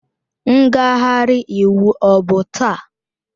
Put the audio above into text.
Ngagharị iwu ọ bụ taa?